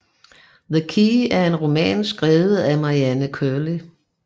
The Key er en roman skrevet af Marianne Curley